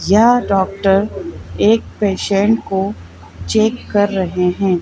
यह डॉक्टर एक पेशेंट को चेक कर रहे हैं।